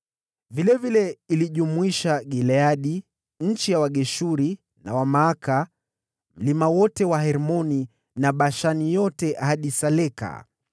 Vilevile ilijumlisha Gileadi, eneo la Wageshuri na Wamaaka, mlima wote wa Hermoni na Bashani yote ikienea hadi Saleka: